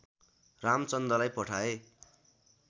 रामचन्दलाई पठाए